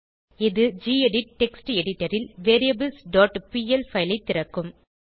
இது gedit text editor ல் variablesபிஎல் பைல் ஐ திறக்கும்